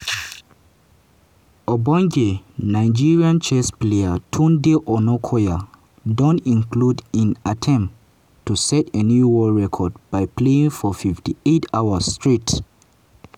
ogbonge nigerian chess player tunde onakoya don conclude im attempt to set a new world record by playing for 58 hours straight.